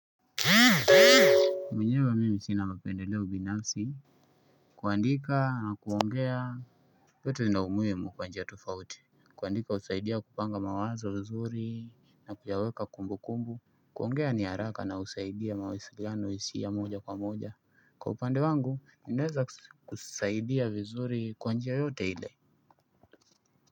Mwenyewe mimi sina mapendeleo binafsi. Kuandika na kuongea yote zina umuhimu kwa njia tofauti. Kuandika husaidia kupanga mawazo vizuri na kuyaweka kumbu kumbu. Kuongea ni haraka na husaidia mawasiliano hisia moja kwa moja. Kwa upande wangu, ninaweza kusaidia vizuri kwa njia yote ile.